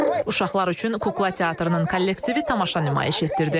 Uşaqlar üçün kukla teatrının kollektivi tamaşa nümayiş etdirdi.